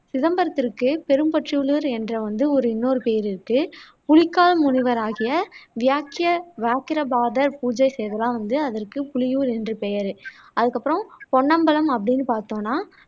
சிதம்பரத்துக்குப் பெரும்பற்றப்புலியூர் என்ற வந்து இன்னொரு பெயர் இருக்கு புலிக்கால் முனிவராகிய வியாக்கிய வியாக்கிரபாதர் பூஜை செய்ததால் வந்து அதற்கு புலியூர் என்று பெயரு அதுக்கப்பறம் பொன்னம்பலம் அப்படின்னு பாத்தோம்னா